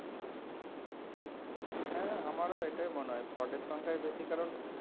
হ্যাঁ আমারও এটাই মনে হয় fraud এর সংখ্যাই বেশি কারণ